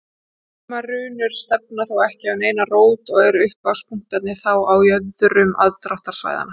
Sumar runur stefna þó ekki á neina rót og eru upphafspunktarnir þá á jöðrum aðdráttarsvæðanna.